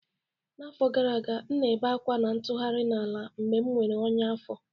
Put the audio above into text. N'afọ gara aga, m na-ebe ákwá na-atụgharị n'ala mgbe m nwere ọnyá afọ